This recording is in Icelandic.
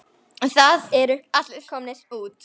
Það eru allir komnir út.